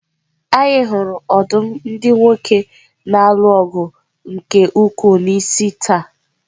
Anyị hụrụ ọdụm ndị nwoke na-alụ ọgụ nke ukwuu n'isi taa.